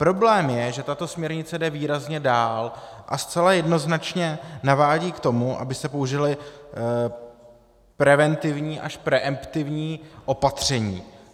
Problém je, že tato směrnice jde výrazně dál a zcela jednoznačně navádí k tomu, aby se použila preventivní až preemptivní opatření.